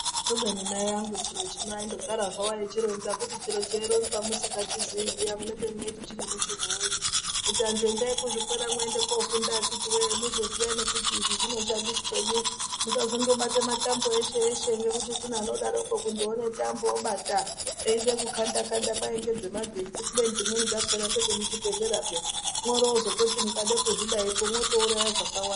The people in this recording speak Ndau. Kubeni mai angu chiro chino., vaindogara zvavo veichironzaa, kuti chiro cheironzwaa musingachizii zviyaa munenge muchiti chine mushomo wei, kuti antu endai kuzvikoro mundofunda akiti wee muzoziyaa kuti izvi zvinoshandisei, musazongobata matambo eshe eshe ngokuti kune anodaroko kundoonebtambo wobata eida kukandaa kandaa, kwayi ndedzemagetsi kubeni dzimweni dzakona ndedzemuchibhedhlera peyaa, moromozototi mukada kuzvidaipo motouraya zvakawanda.